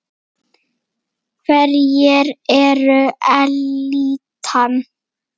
Hverjir eru elítan?